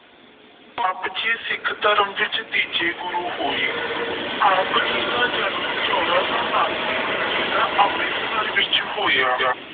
ਆਪ ਜੀ ਸਿੱਖ ਧਰਮ ਵਿੱਚ ਤੀਜੇ ਗੁਰੂ ਹੋਏ। ਆਪ ਜੀ ਦਾ ਜਨਮ ਚੋਦਾਂ ਸੌ ਉਨਾਸੀ ਨੂੰ ਜ਼ਿਲ੍ਹਾ ਅੰਮ੍ਰਿਤਸਰ ਵਿੱਚ ਹੋਇਆ।